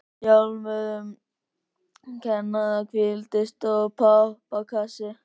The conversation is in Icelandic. Í örmum hennar hvíldi stór pappakassi.